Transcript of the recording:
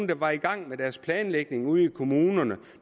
der var i gang med deres planlægning ude i kommunerne